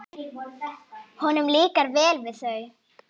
Honum líkar vel við þau.